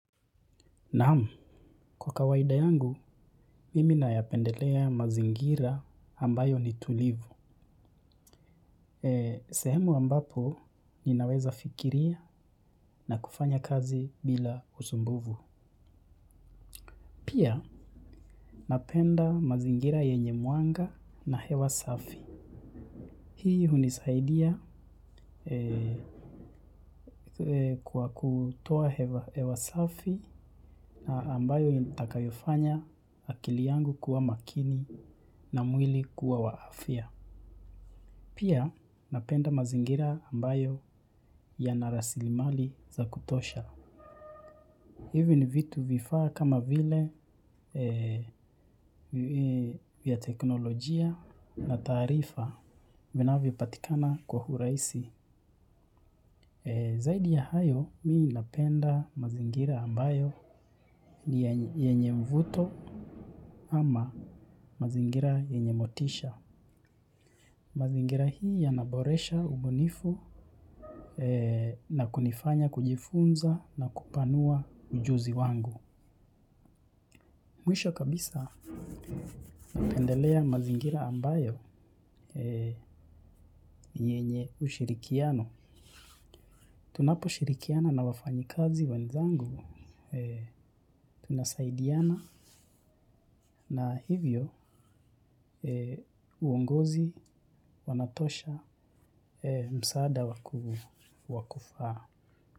Naam, kwa kawaida yangu, mimi nayapendelea mazingira ambayo ni tulivu. Sehemu ambapo, ninaweza fikiria na kufanya kazi bila usumbufu. Pia, napenda mazingira yenye mwanga na hewa safi. Hii hunisaidia kwa kutoa hewa safi na ambayo itakayofanya akili yangu kuwa makini na mwili kuwa wa afya. Pia napenda mazingira ambayo yana rasilimali za kutosha. Hivi ni vitu vifaa kama vile vya teknolojia na taarifa vinavyopatikana kwa urahisi. Zaidi ya hayo mi napenda mazingira ambayo ni yenye mvuto ama mazingira yenye motisha. Mazingira hii yanaboresha ubunifu na kunifanya kujifunza na kupanua ujuzi wangu. Mwisho kabisa napendelea mazingira ambayo yenye ushirikiano. Tunapo shirikiana na wafanyikazi wenzangu, tunasaidiana na hivyo uongozi wanatosha msaada wa kufaa.